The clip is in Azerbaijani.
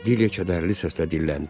Dilyə kədərli səslə dilləndi.